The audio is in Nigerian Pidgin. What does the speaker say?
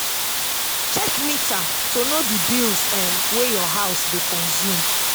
check meter to know di bills um wey your house dey consume